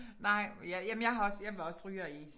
Nej ja jamen jeg har også jeg var også ryger i